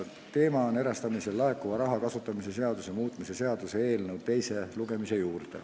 Teema on erastamisest laekuva raha kasutamise seaduse muutmise seaduse eelnõu teine lugemine.